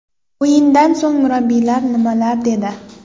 O‘yindan so‘ng murabbiylar nimalar dedi?.